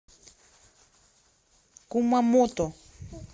кумамото